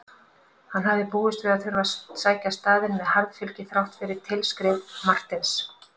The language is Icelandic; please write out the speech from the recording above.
Hann hafði búist við að þurfa að sækja staðinn með harðfylgi þrátt fyrir tilskrif Marteins.